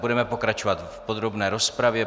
Budeme pokračovat v podrobné rozpravě.